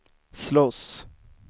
slåss